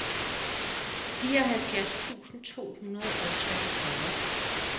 fireoghalvfjerds tusind to hundrede og treogfyrre